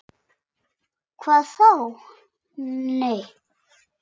Hvað þá., nei.